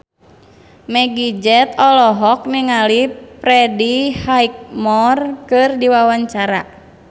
Meggie Z olohok ningali Freddie Highmore keur diwawancara